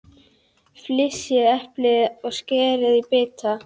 Flysjið eplin og skerið í bita.